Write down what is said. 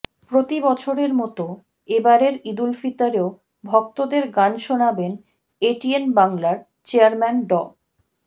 প্রতিবছরের মতো এবারের ঈদুল ফিতরেও ভক্তদের গান শোনাবেন এটিএন বাংলার চেয়ারম্যান ড